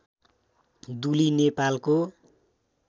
दुली नेपालको